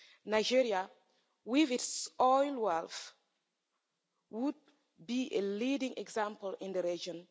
Nigeria with its oil wealth would be a leading example in the region.